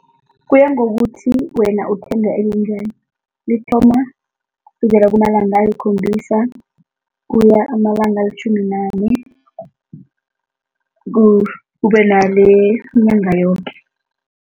Kuya ngokuthi wena uthenga elinjani, lithoma kusukela kumalanga ayikhombisa kuya amalanga alitjhumi nanye, kube nelenyanga yoke.